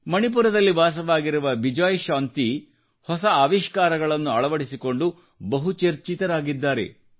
ಮಣಿಪುರದಲ್ಲಿ ವಾಸವಾಗಿರುವ ಬಿಜಯಶಾಂತಿ ಹೊಸ ಆವಿಷ್ಕಾರಗಳನ್ನು ಅಳವಡಿಸಿಕೊಂಡು ಸುದ್ದಿಯಲ್ಲಿದ್ದಾರೆ